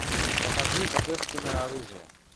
покажи божественное оружие